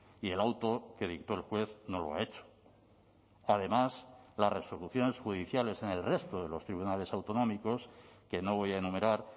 y el auto que dictó el juez no lo ha hecho además las resoluciones judiciales en el resto de los tribunales autonómicos que no voy a enumerar